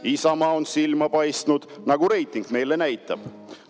Isamaa on silma paistnud, nagu reiting meile näitab.